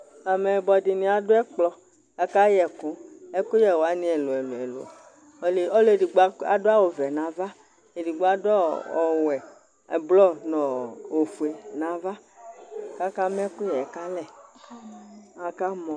Amɛyibɔ dini adʋ ɛkplɔ , akayɛ ɛkʋ, ɛkʋyɛwani lɛ ɛlʋ ɛlʋ ɛlʋ Ɔlʋ edigbo adʋ awʋ vɛ n'ava, edigbo adʋ ɔɔ ɔwɛ, blɔ nʋ ɔɔ ofue n'ava k'akama ɛkʋyɛ kalɛ, akamɔ